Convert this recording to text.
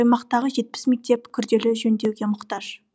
аймақтағы жетпіс мектеп күрделі жөндеуге мұқтаж